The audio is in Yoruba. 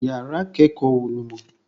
Yàrá ìkẹ́kọ̀ọ́ wo lo mọ̀?